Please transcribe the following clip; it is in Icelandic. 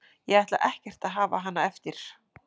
Ég ætla ekkert að hafa hana eftir.